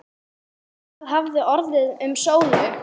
Hvað hafði orðið um Sólu?